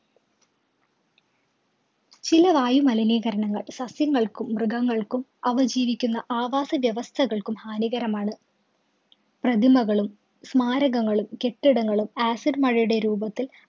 ചില വായുമലിനീകരണങ്ങള്‍ സസ്യങ്ങള്‍ക്കും, മൃഗങ്ങള്‍ക്കും, അവ ജീവിക്കുന്ന ആവാസവ്യവസ്ഥകള്‍ക്കും ഹാനികരമാണ്. പ്രതിമകളും, സ്മാരകങ്ങളും കെട്ടിടങ്ങളും acid മഴയുടെ രൂപത്തില്‍